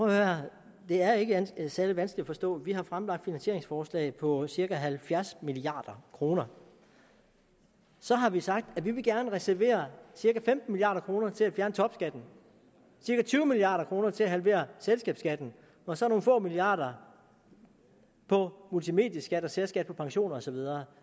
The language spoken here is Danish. her det er ikke særlig vanskeligt at forstå vi har fremlagt finansieringsforslag på cirka halvfjerds milliard kroner så har vi sagt at vi gerne vil reservere cirka femten milliard kroner til at fjerne topskatten cirka tyve milliard kroner til at halvere selskabsskatten og så nogle få milliarder på multimedieskatten og særskatten på pensioner og så videre